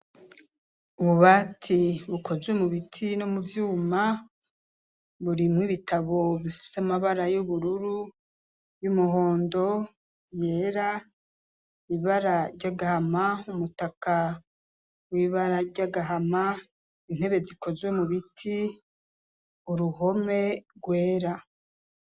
Ububati bukozwe mu biti no mu vyuma, burimwo ibitabo bifise amabara y'ubururu, y'umuhondo, yera, ibara ry' agahama, umutaka w'ibara ry'agahama, intebe zikozwe mu biti, uruhome rwera.